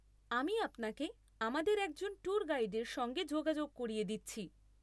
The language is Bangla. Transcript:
আমি আপনাকে আমাদের একজন ট্যুর গাইডের সঙ্গে যোগাযোগ করিয়ে দিচ্ছি।